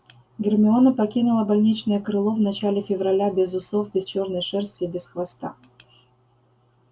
гермиона покинула больничное крыло в начале февраля без усов без чёрной шерсти и без хвоста